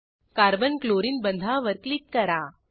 carbon chlorine बंधावर click करा